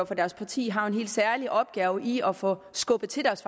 for deres parti har en helt særlig opgave i at få skubbet til deres